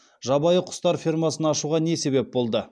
жабайы құстар фермасын ашуға не себеп болды